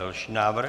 Další návrh.